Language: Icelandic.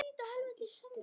Hann ypptir öxlum.